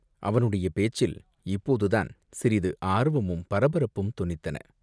அவனுடைய பேச்சில் இப்போதுதான் சிறிது ஆர்வமும் பரபரப்பும் தொனித்தன.